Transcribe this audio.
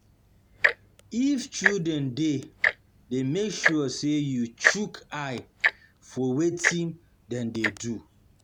If children de there make sure say you shook eye for wetin for wetin dem de do